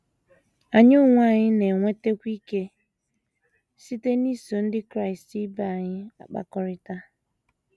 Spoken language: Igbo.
Anyị onwe anyị na - enwetakwa ike site n’iso ndị Kraịst ibe anyị na - akpakọrịta.